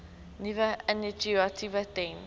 nuwe initiatiewe ten